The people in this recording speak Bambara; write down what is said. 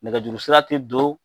Nɛgɛjuru sira te don